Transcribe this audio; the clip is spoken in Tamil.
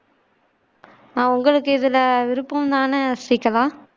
ஆஹ் உங்களுக்கு இதுல விருப்பம் தானே ஸ்ரீகலா